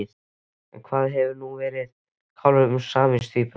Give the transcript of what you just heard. En hvað verður nú um kálfinn eða síamstvíburana?